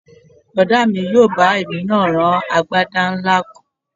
Bọ̀dá mi yóò bá èmi náà rán agbádá ńlá kan